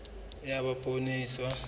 ha eba poone e iswa